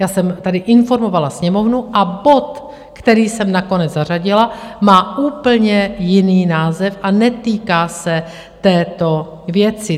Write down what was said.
Já jsem tady informovala Sněmovnu a bod, který jsem nakonec zařadila, má úplně jiný název a netýká se této věci.